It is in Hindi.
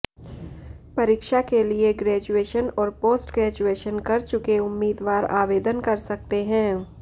परीक्षा के लिए ग्रेजुएशन और पोस्ट ग्रेजुएशन कर चुके उम्मीदवार आवेदन कर सकते हैं